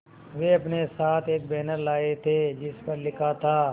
वे अपने साथ एक बैनर लाए थे जिस पर लिखा था